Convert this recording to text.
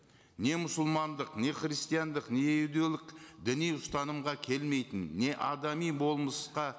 не мұсылмандық не христиандық не діни ұстанымға келмейтін не адами болмысқа